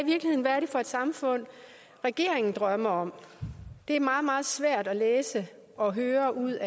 for et samfund regeringen drømmer om det er meget meget svært at læse og høre ud